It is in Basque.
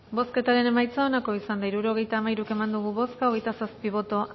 bozketaren emaitza onako izan da hirurogeita hamairu eman dugu bozka hogeita zazpi boto